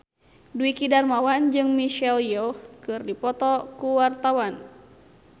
Dwiki Darmawan jeung Michelle Yeoh keur dipoto ku wartawan